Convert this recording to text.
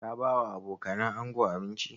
Ka ba wa abokanan ango abinci?